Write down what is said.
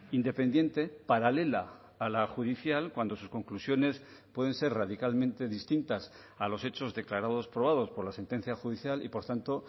independiente paralela a la judicial cuando sus conclusiones pueden ser radicalmente distintas a los hechos declarados probados por la sentencia judicial y por tanto